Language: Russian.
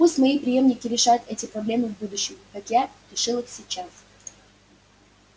пусть мои преемники решают эти проблемы в будущем как я решил их сейчас